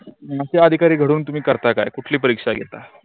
मग ते अधिकारी घडून तुम्ही करता काय कुठली परीक्षा घेतात.